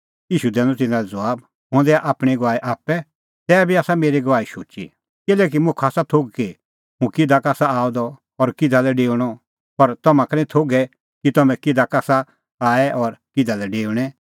ईशू दैनअ तिन्नां लै ज़बाब हुंह दैआ आपणीं गवाही आप्पै तैबी आसा मेरी गवाही शुची किल्हैकि मुखा आसा थोघ कि हुंह किधा का आसा आअ द और किधा लै डेऊणअ पर तम्हां का निं थोघै कि तम्हैं किधा का आऐ और किधा लै डेऊणैं